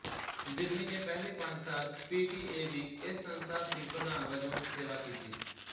ਬਿਰਨੀ ਨੇ ਪਹਿਲੇ ਪੰਜ ਸਾਲ ਪੀਟੀਏ ਦੀ ਇਸ ਸੰਸਥਾ ਸੀ ਪ੍ਰਧਾਨ ਵਜੋਂ ਸੇਵਾ ਕੀਤੀ